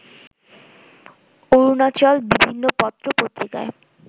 অরুণাচল বিভিন্ন পত্র পত্রিকায়